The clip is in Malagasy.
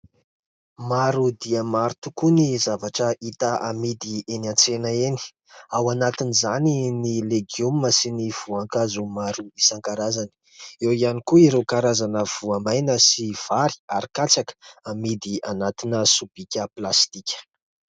Maro dia maro tokoa ny zavatra hita amidy eny an-tsena eny, ao anatin'izany ny legioma sy ny voankazo maro isan-karazany, eo ihany koa ireo karazana voamaina sy vary ary katsaka amidy anatina sobika plastika.